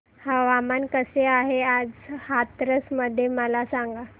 हवामान कसे आहे आज हाथरस मध्ये मला सांगा